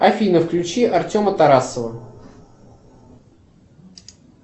афина включи артема тарасова